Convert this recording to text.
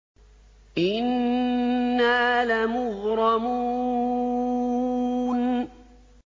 إِنَّا لَمُغْرَمُونَ